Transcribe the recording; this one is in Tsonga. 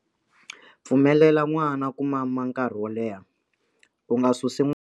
Pfumelela n'wana ku mama nkarhi wo leha, u nga susi.